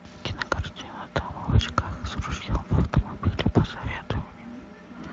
кинокартина дама в очках с ружьем в автомобиле посоветуй мне